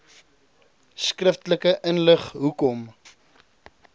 skriftelik inlig hoekom